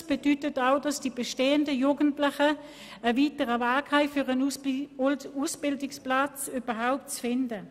Es bedeutet auch, dass die Jugendlichen einen weiteren Arbeitsweg in Kauf nehmen müssen, um überhaupt einen Ausbildungsplatz zu finden.